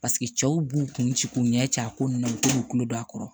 Paseke cɛw b'u kuncɛ k'u ɲɛ ci a ko ninnu na u bɛ to k'u kulo don a kɔrɔ